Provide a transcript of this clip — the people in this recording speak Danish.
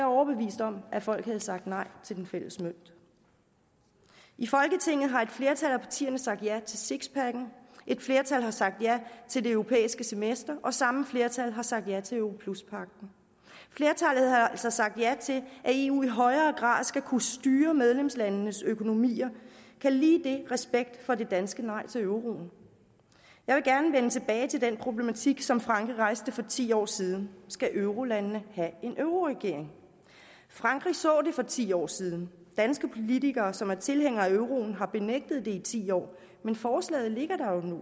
overbevist om at folk havde sagt nej til den fælles mønt i folketinget har et flertal af partierne sagt ja til sixpacken et flertal har sagt ja til det europæiske semester og samme flertal har sagt ja til europluspagten flertallet har altså sagt ja til at eu i højere grad skal kunne styre medlemslandenes økonomier kald lige det respekt for det danske nej til euroen jeg vil gerne vende tilbage til den problematik som frankrig rejste for ti år siden skal eurolandene have en euroregering frankrig så det for ti år siden danske politikere som er tilhængere af euroen har benægtet det i ti år men forslaget ligger der jo nu